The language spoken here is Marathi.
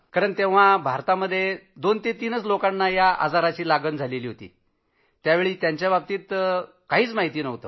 कारण तेव्हा भारतात दोन ते तीन लोकांनाच त्याची लागण झाली होती त्यावेळी त्याच्याबाबतीत काहीच माहिती नव्हती